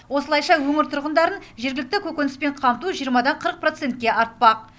осылайша өңір тұрғындарын жергілікті көкөніспен қамту дан ке артпақ